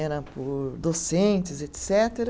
era por docentes, etcetera